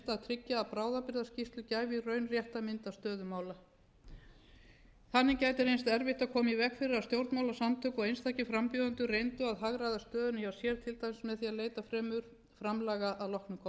tryggja að bráðabirgðaskýrsla gæfi í raun rétta mynd af stöðu mála þannig gæti reynst erfitt að koma í veg fyrir að stjórnmálasamtök og einstakir frambjóðendur reyndu að hagræða stöðunni hjá sér til dæmis með því að leita fremur framlaga að loknum kosningum þótti